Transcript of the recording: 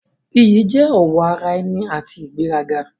Iyì jẹ́ ọ̀wọ̀ ara ẹni àti ìgbéraga.